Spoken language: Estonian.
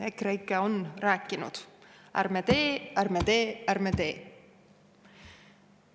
EKREIKE on rääkinud: ärme teeme, ärme teeme, ärme teeme!